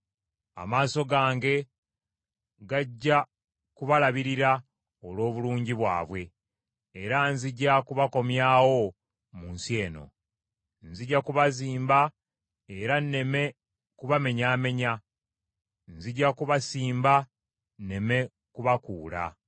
Amaaso gange gajja kubalabirira olw’obulungi bwabwe, era nzija kubakomyawo mu nsi eno. Nzija kubazimba era nneme kubamenyaamenya: nzija kubasimba nneme kubakuula.